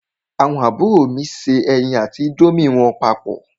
Àwọn àbúrò mi se ẹyin àti índómì wọn papọ̀.